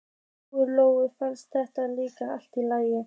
Lóu-Lóu fannst það líka allt í lagi.